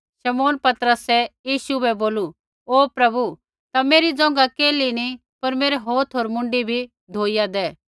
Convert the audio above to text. शमौन पतरसै यीशु बै बोलू ओ प्रभु ता मेरी ज़ोंघा केल्ही नैंई पर हौथ होर मुँडी भी धोइया दै